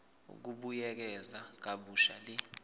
ukubuyekeza kabusha le